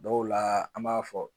Dɔw la an b'a fɔ